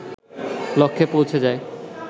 লক্ষ্যে পৌঁছে যায়